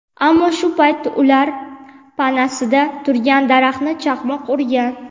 Ammo shu payt ular panasida turgan daraxtni chaqmoq urgan..